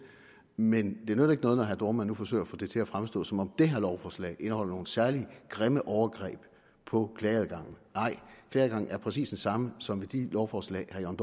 men det nytter ikke noget når herre dohrmann nu forsøger at få det til at fremstå som om det her lovforslag indeholder nogle særlig grimme overgreb på klageadgangen nej klageadgangen er præcis den samme som i de lovforslag som